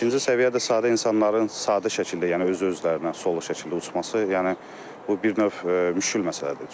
İkinci səviyyə də sadə insanların sadə şəkildə, yəni öz-özlərinə solo şəkildə uçması, yəni bu bir növ müşküldür məsələdir.